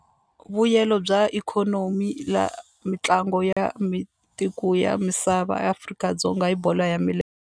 Vuyelo bya ikhonomi ya mitlangu ya ya misava Afrika-Dzonga hi bolo ya .